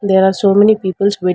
there are so many peoples with--